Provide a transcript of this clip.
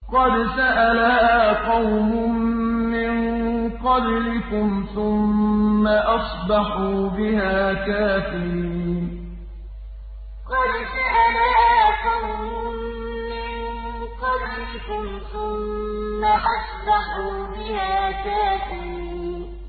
قَدْ سَأَلَهَا قَوْمٌ مِّن قَبْلِكُمْ ثُمَّ أَصْبَحُوا بِهَا كَافِرِينَ قَدْ سَأَلَهَا قَوْمٌ مِّن قَبْلِكُمْ ثُمَّ أَصْبَحُوا بِهَا كَافِرِينَ